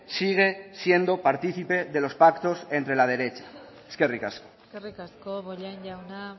sigue siendo participe de los pactos entre la derecha eskerrik asko eskerrik asko bollain jauna